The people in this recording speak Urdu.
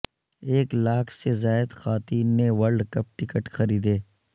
ایک لاکھ سے زائد خواتین نے ورلڈ کپ ٹکٹ خریدے